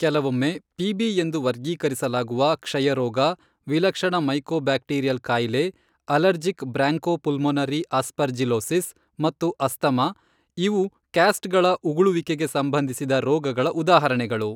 ಕೆಲವೊಮ್ಮೆ ಪಿ.ಬಿ ಎಂದು ವರ್ಗೀಕರಿಸಲಾಗುವ, ಕ್ಷಯರೋಗ, ವಿಲಕ್ಷಣ ಮೈಕೋಬ್ಯಾಕ್ಟೀರಿಯಲ್ ಕಾಯಿಲೆ, ಅಲರ್ಜಿಕ್ ಬ್ರಾಂಕೋಪುಲ್ಮೊನರಿ ಆಸ್ಪರ್ಜಿಲೊಸಿಸ್ ಮತ್ತು ಅಸ್ತಮಾ, ಇವು ಕ್ಯಾಸ್ಟ್ಗಳ ಉಗುಳುವಿಕೆಗೆ ಸಂಬಂಧಿಸಿದ ರೋಗಗಳ ಉದಾಹರಣೆಗಳು.